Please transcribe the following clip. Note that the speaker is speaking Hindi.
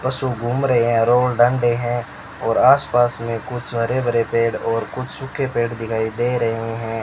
पशु घूम रहे हैं डंडे हैं और आसपास में कुछ हरे भरे पेड़ और कुछ सूखे पेड़ दिखाई दे रहे हैं।